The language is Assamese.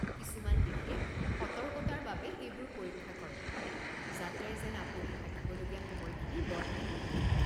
কিছুমান দেশে সতৰ্কতাৰ বাবে এইবোৰ পৰীক্ষা কৰে যাতে যেন আপুনি থাকিবলগীয়া সময়খিনি বঢ়াই নিদিয়ে।